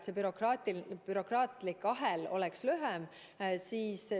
See bürokraatlik ahel oleks lühem.